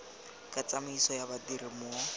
ka tsamaiso ya badiri mo